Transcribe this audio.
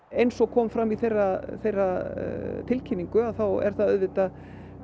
eins og kom fram í þeirra þeirra tilkynningu þá er það auðvitað